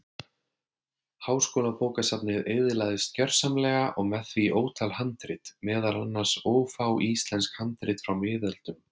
Háskólabókasafnið eyðilagðist gjörsamlega og með því ótal handrit, meðal annars ófá íslensk handrit frá miðöldum.